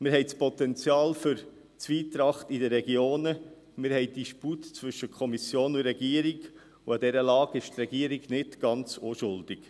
Wir haben das Potenzial für die Zwietracht in den Regionen, wir haben einen Disput zwischen Kommission und Regierung, und an dieser Lage ist die Regierung nicht ganz unschuldig.